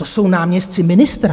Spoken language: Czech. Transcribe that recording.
To jsou náměstci ministra.